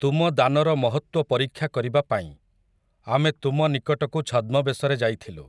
ତୁମ ଦାନର ମହତ୍ତ୍ୱ ପରୀକ୍ଷା କରିବା ପାଇଁ, ଆମେ ତୁମ ନିକଟକୁ ଛଦ୍ମବେଶରେ ଯାଇଥିଲୁ ।